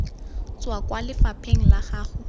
tswa kwa lefapheng la gago